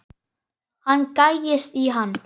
Hann gægist í hann.